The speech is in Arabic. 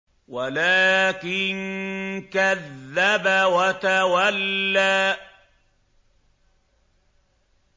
وَلَٰكِن كَذَّبَ وَتَوَلَّىٰ